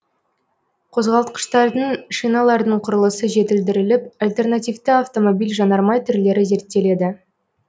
қозғалтқыштардың шиналардың құрылысы жетілдіріліп альтернативті автомобиль жанармай түрлері зерттеледі